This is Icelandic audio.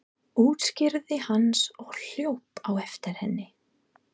útskýrði hann og hljóp á eftir henni.